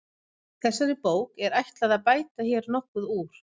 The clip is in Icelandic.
Þessari bók er ætlað að bæta hér nokkuð úr.